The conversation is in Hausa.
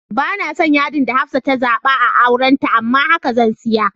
Banason yadi da Hafsah ta zaba a auranta amma a haka zan siya.